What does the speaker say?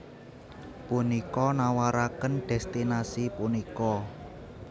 Punika nawaraken destinasi punika